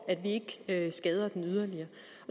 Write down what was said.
at vi skader den yderligere